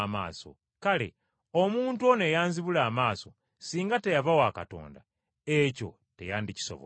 Kale omuntu ono eyanzibula amaaso singa teyava wa Katonda ekyo teyandikisobodde.”